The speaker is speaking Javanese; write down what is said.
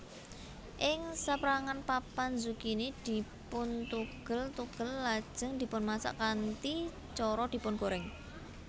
Ing saperangan papan zukini dipuntugel tugel lajeng dipunmasak kanthi cara dipungorèng